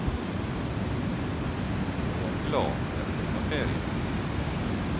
Jeg er glad det er sommerferie.